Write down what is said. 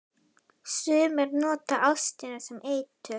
Sumir nota ástina sem eitur.